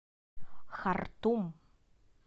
хартум